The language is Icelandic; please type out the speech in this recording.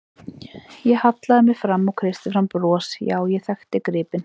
Ég hallaði mér fram og kreisti fram bros, já, ég þekkti gripinn.